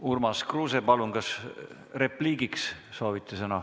Urmas Kruuse, palun, kas soovite repliigiks sõna?